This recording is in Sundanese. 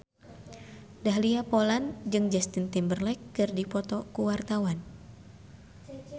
Dahlia Poland jeung Justin Timberlake keur dipoto ku wartawan